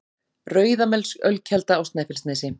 Rauðamelsölkelda á Snæfellsnesi